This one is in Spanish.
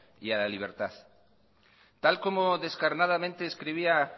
y a la libertad tal como descarnadamente escribía